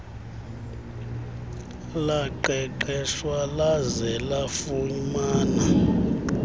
laqeqeshwa laze lafumana